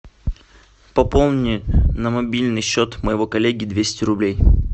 пополни на мобильный счет моего коллеги двести рублей